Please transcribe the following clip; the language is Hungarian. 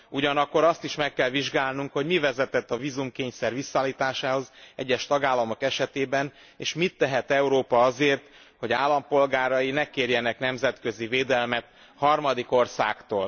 Ugyanakkor azt is meg kell vizsgálnunk, hogy mi vezetett a vízumkényszer visszaállításához egyes tagállamok esetében, és mit tehet Európa azért, hogy állampolgárai ne kérjenek nemzetközi védelmet harmadik országtól.